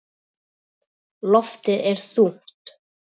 Loftið er þungt.